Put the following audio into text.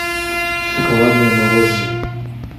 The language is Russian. шоколадное мороженое